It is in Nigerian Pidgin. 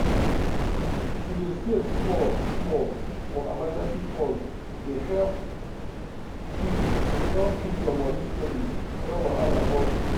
to dey save small-small for emergency fund dey help keep help keep your money steady when wahala burst.